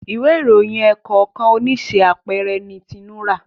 Ìwé ìròyìn ẹ̀ẹ̀kọ̀kan oníṣe àpẹẹrẹ ní Tinu rá.